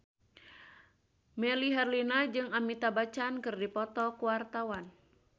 Melly Herlina jeung Amitabh Bachchan keur dipoto ku wartawan